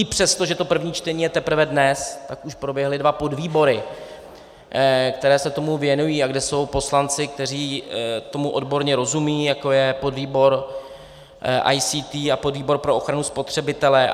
I přesto, že to první čtení je teprve dnes, tak už proběhly dva podvýbory, které se tomu věnují a kde jsou poslanci, kteří tomu odborně rozumějí, jako je podvýbor ICT a podvýbor pro ochranu spotřebitele.